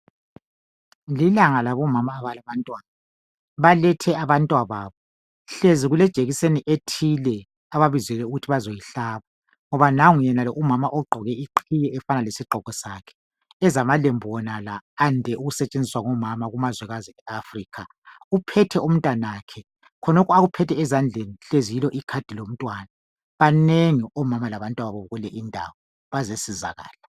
Lilanga labomama abalabantwana. Balethe abantwababo. Hlezi kulejekiseni ethile ababizelwe ukuthi bazoyihlaba ngoba nango yenalo umama ogqoke iqhiye efanana lesigqoko sakhe ezamalembu wonala ande ukusetshenziswa ngomama kumazwekazi eAfrica uphethe umntanakhe. Khonokhu akuphethe ezandleni hlezi yilo icard lomntwana. Banengi omama labantwababo kule indawo bazesizakala.